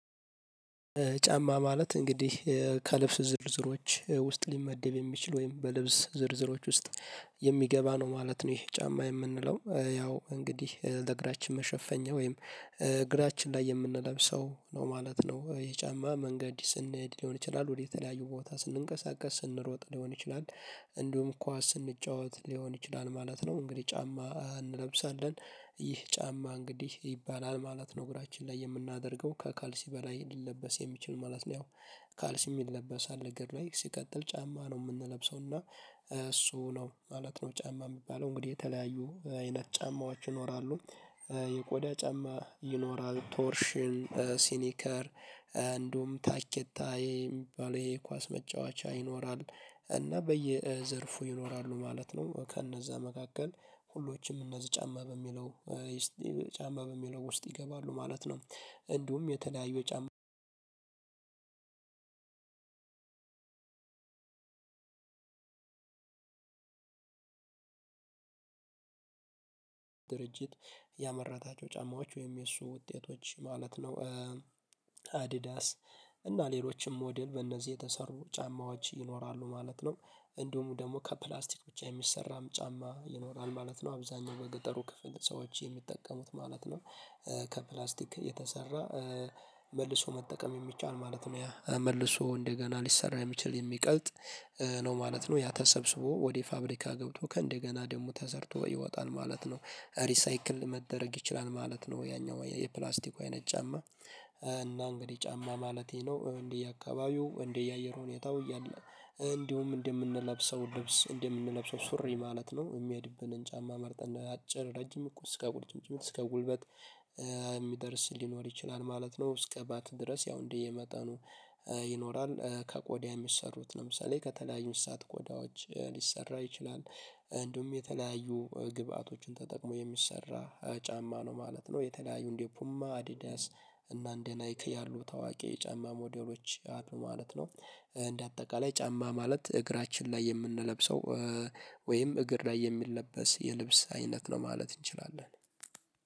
ጫማ ማለት እንግዲህ ከልብስ ዝርዝሮች ውስጥ ሊመደብ የሚችል ወይም በልብስ ዝርዝሮች ውስጥ የሚገባ ነው ማለት ነው ይሄ ጫማ የምንለው ያው እንግዲህ ለእግራችን መሸፈኛ ወይም እግራችን ላይ የምንለብሰው ነው ማለት ነው ይሄ ጫማ መንገድ ስንሄድ ሊሆን ይችላል ወደ የተለያዩ ቦታ ስንንቀሳቀስ ስንሮጥ ሊሆን ይችላል። እንዲሁም ኳስ ስንጫወት ሊሆን ይችላል ማለት ነው እንግዲህ ጫማ እንለብሳለን ይህ ጫማ እንግዲህ ይባላል ማለት ነው። እግራችን ላይ የምናደርገው ከካልሲ በላይ ሊለበስ የሚችል ማለት ነው። ያው ካልሲ ይለበሳል እግር ላይ ሲቀጥል ጫማ ነው። የምንለብሰው እና እሱ ነው ማለት ነው። ጫማ የሚባለው እንግዲህ የተለያዩ አይነት ጫማዎች ይኖራሉ። የቆዳ ጫማ ይኖራል ቶርሽን ሲኒከር እንደውም ታኬታ የሚባለው የኳስ መጫወቻ ይኖራል። እና በየዘርፉ ይኖራሉ ማለት ነው ከነዛ መካከል ሁሎችም እነዚህ ጫማ በሚለው ጫማ በሚለው ውስጥ ይገባሉ ማለት ነው። እንዲሁም የተለያዩ የጫማ ድርጅት ያመረታቸው ጫማዎች ወይም የእሱ ውጤቶች ማለት ነው። አዲዳስ እና ሌሎችም ሞዴል በእነዚህ የተሰሩ ጫማዎች ይኖራሉ ማለት ነው። እንዲሁም ደግሞ ከፕላስቲክ ብቻ የሚሰራም ጫማ ይኖራል ማለት ነው። አብዛኛው በገጠሩ ክፍል ሰዎች የሚጠቀሙት ማለት ነው። ከፕላስቲክ የተሰራ መልሶ መጠቀም የሚቻል ማለት ነው። ያ መልሶ እንደገና ሊሰራ የሚችል የሚቀልጥ ነው ማለት ነው። ያ ተሰብስቦ ወደ ፋብሪካ ገብቶ ከእንደገና ደግሞ ተሰርቶ ይወጣል ማለት ነው። ሪሳይክል መደረግ ይችላል ማለት ነው። ያኛው የፕላስቲኮ አይነት ጫማ እና እንግዲህ ጫማ ማለቴ ነው። እንደየአካባቢው እንደየአየር ሁኔታው እያለ እንዲሁም እንደምንለብሰው ልብስ እንደምንለብሰው ሱሪ ማለት ነው። የሚሀድብንን ጫማ መርጠን አጭር ረጅም እኮ እስከ ጉልጭምጭምጥ እስከ ጉልበት የሚደርስ ሊኖር ይችላል ማለት ነው። እስከ ባት ድረስ ያው እንዲህ የመጠኑ ይኖራል። ከቆዳ የሚሰሩት ለምሳሌ ከተለያዩ እንስሳት ቆዳዎች ሊሰራ ይችላል። እንደውም የተለያዩ ግብአቶችን ተጠቅሞ የሚሰራ ጫማ ነው ማለት ነው። የተለያዩ እንዴ ፑማ አዲዳስ እና እንደ ናይክ ያሉ ታዋቂ የጫማ ሞዴሎች አሉ ማለት ነው። እንደ አጠቃላይ ጫማ ማለት እግራችን ላይ የምንለብሰው ወይም እግር ላይ የሚለበስ የልብስ አይነት ነው ማለት እንችላለን።